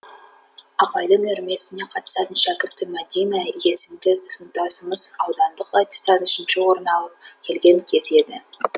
апайдың үйірмесіне қатысатын шәкірті мәдина есімді сыныптасымыз аудандық айтыстан үшінші орын алып келген кез еді